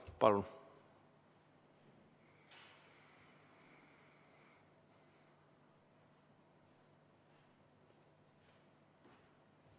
Palun!